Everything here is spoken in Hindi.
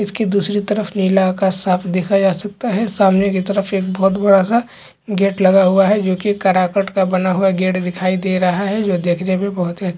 इसकी दूसरी तरफ नीला आकाश साफ़ देखा जा सकता है सामने की तरफ एक बोहत बड़ा- सा गेट लगा हुआ है जोकि एक कराकट का बना हुआ गेट दिखाई दे रहा है जो देखने में बोहत ही अच--